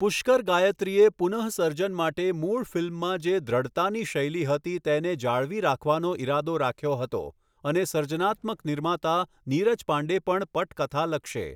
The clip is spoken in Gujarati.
પુષ્કર ગાયત્રીએ પુન:સર્જન માટે મૂળ ફિલ્મમાં જે 'દૃઢતાની' શૈલી હતી તેને જાળવી રાખવાનો ઈરાદો રાખ્યો હતો, અને સર્જનાત્મક નિર્માતા, નીરજ પાંડે પણ પટકથા લખશે.